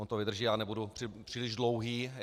On to vydrží, já nebudu příliš dlouhý.